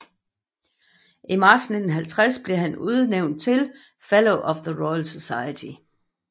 I marts 1950 blev han udnævnt til Fellow of the Royal Society